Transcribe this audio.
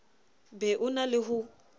be o na le ho